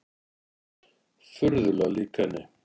Furðulega lík henni.